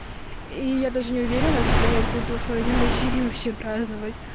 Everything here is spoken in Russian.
и я даже не уверена что я буду свой день рождения вообще праздновать